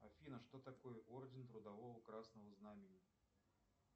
афина что такое орден трудового красного знамени